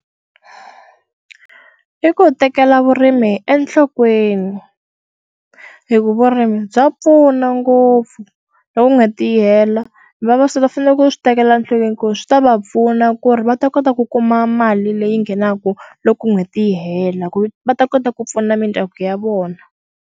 I ku tekela vurimi hi enhlokweni hi ku vurimi bya pfuna ngopfu loko nga tiyela vavasati va fanele ku swi tekela nhlokweni ku ri swi ta va pfuna ku ri va ta kota ku kuma mali leyi nghenaka loko n'hweti yi hela ku va ta kota ku pfuna mindyangu ya vona.